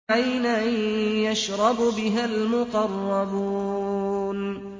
عَيْنًا يَشْرَبُ بِهَا الْمُقَرَّبُونَ